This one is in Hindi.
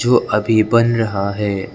वो अभी बन रहा है।